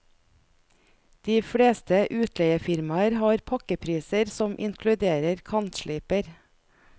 De fleste utleiefirmaer har pakkepriser som inkluderer kantsliper.